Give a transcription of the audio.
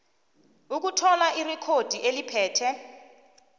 ukuthola irekhodi eliphethe